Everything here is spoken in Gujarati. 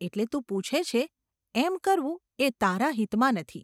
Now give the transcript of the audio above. એટલે તું પૂછે છે એમ કરવું એ તારા હિતમાં નથી.